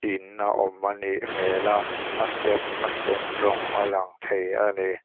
in a awm a nih hmêl a a step a sen rawng a lang thei a ni.